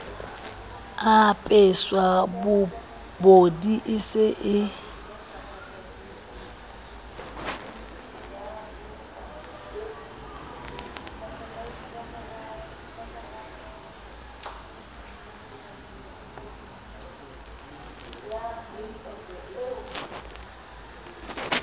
apeswa pobodi e se e